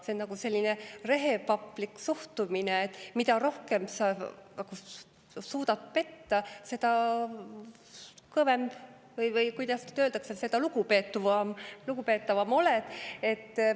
See on selline rehepaplik suhtumine, et mida rohkem sa suudad petta, seda kõvem, või kuidas öelda, seda lugupeetavam sa oled.